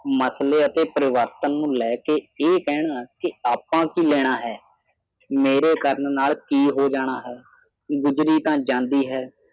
ਮਸਲੇ ਅਤੇ ਪਰਿਵਰਤਨ ਨੂੰ ਲੈ ਕੇ ਇਹ ਕਹਿਣਾ ਕੇ ਆਪਾਂ ਕੀ ਲੈਣਾਂ ਹੈ ਮੇਰੇ ਕਰਨ ਨਾਲ ਕੀ ਹੋ ਜਾਣਾ ਹੈ ਗੁਜਰੀ ਤਾਂ ਜਾਂਦੀ ਹੈ